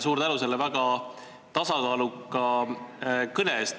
Suur tänu selle väga tasakaaluka kõne eest!